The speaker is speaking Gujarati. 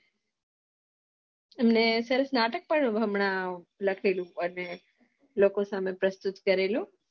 એમને સરસ નાટક પણ હમણા લખેલું અને લોકો સામે પ્રસુત કરેલું